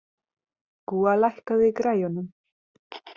Gúa, lækkaðu í græjunum.